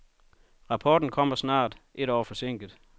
Rapporterne kommer snart, et år forsinket.